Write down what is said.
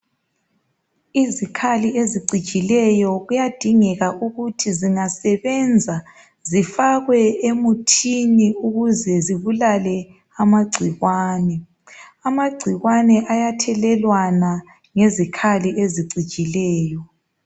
Izikhali ezicijileyo kuyadingeka ukuthi zingasebenza zifakwe emuthini ukuze zibulale amagcikwane. Amagcikwane ayathelelwana ngezikhali ezicijileyo.